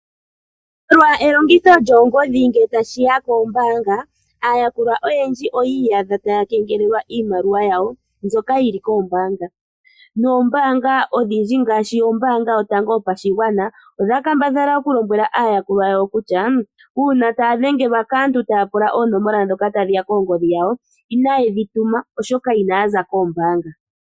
Molwa elongitho lyoongodhi ngele tashi ya koombaanga aayakulwa oyendji oto adha taya kengelelwa iimaliwa yawo mbyoka yi li koombaanga. Noombaanga odhindji ngaashi Ombaanga Yotango Yopashigwana odha kambadhala okulombwela aayakulwa yawo kutya uuna taya dhengelwa kaantu taya pula oonomola ndhoka tadhi ya koongodhi dhawo inaye dhi tuma, oshoka inaya za koombaanga.